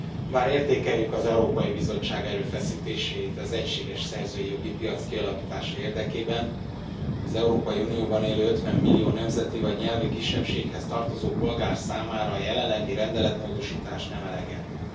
Elnök Asszony! Bár értékeljük az Európai Bizottság erőfeszítéseit az egységes szerzői jogi piac kialakítása érdekében, az Európai Unióban élő 50 millió nemzeti vagy nyelvi kisebbséghez tartozó polgár számára a jelenlegi rendeletmódosítás nem elegendő.